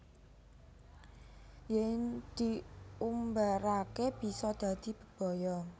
Yen diumbarake bisa dadi bebaya